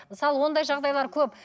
мысалы ондай жағдайлар көп